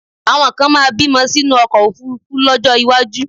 Àwọn kan máa bímọ sínú ọkọ̀ òfuurufú lọ́jọ́ iwájú